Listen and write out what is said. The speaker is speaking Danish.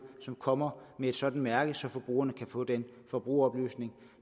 som kommer med et sådant mærke så forbrugerne kan få den forbrugeroplysning